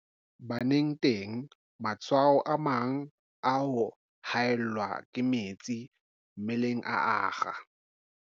Baneng teng, matshwao a mang a ho haellwa ke metsi mmeleng a akga.